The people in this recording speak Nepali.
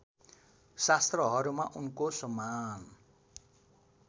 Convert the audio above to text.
शास्त्रहरूमा उनको समान